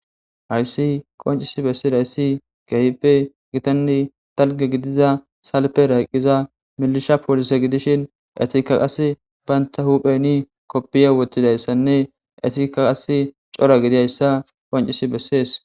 hayssi qoncisi bessis hayssi gehipe gitanni talge gidiza salpe rayqqiza milisha poolise gidishin etika qas bayntha hupheni koppiye woththidayssanne etika qas cora gidiayssa qoncisi bessees